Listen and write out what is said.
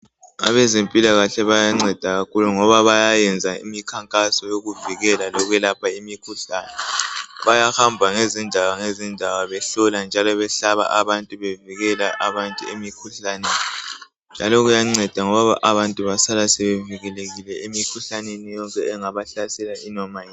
Abezempikahle bayanceda kakhulu ngoba bayayenza imikhankaso yokuvikela lokulapha imikhuhlane bayahamba ngezindawo ngezindawo behlola njalo behlaba abantu bevikela abantu emikhuhlaneni njalo kuyanceda ngoba abantu basala sebevikelekile emikhuhlaneni yonke engabahlasela noma yinini